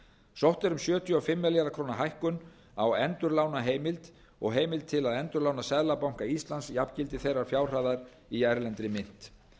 sótt er um sjötíu og fimm milljarða króna hækkun á endurlánaheimild og heimild til að endurlána seðlabanka íslands jafngildi þeirrar fjárhæðar í erlendri mynt